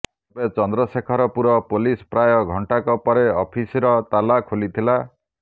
ତେବେ ଚନ୍ଦ୍ରଶେଖରପୁର ପୋଲିସ୍ ପ୍ରାୟ ଘଂଟାକ ପରେ ଅଫିସର ତାଲା ଖୋଲିଥିଲା